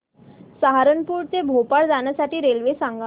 सहारनपुर ते भोपाळ जाण्यासाठी रेल्वे सांग